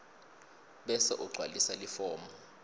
bese ugcwalisa lifomu